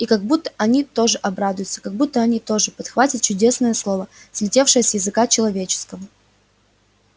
и как буд-то они тоже обрадуются как будто они тогда тоже подхватят чудесное слово слетевшее с языка человеческого